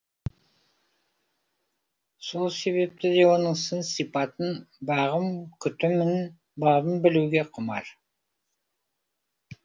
сол себепті де оның сын сипатын бағым күтімін бабын білуге құмар